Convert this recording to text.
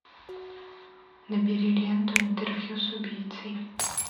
набери ленту интервью с убийцей